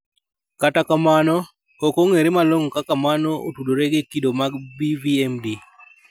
Kata kamano, ok ong'ere malong'o kaka mano otudore gi kido mag BVMD.